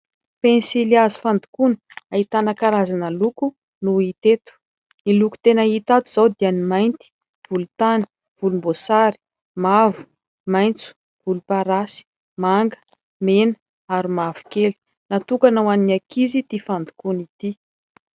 Pensilihazo fandokoana, ahitana karazana loko no hita eto. Ny loko tena hita ato izao dia ny mainty, volontany, volomboasary, mavo, maitso, volomparasy, manga, mena ary mavokely. Natokana ho an'ny ankizy ity fandokoana ity.